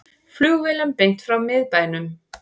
Flugvélum beint frá miðbænum